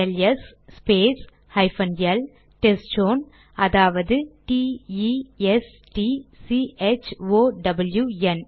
LS space hyphen L test zone அதாவது T E S T C H O W என்